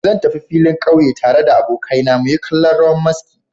Zan tafi filin ƙauye tare da abokaina muyi kallon rawan maski.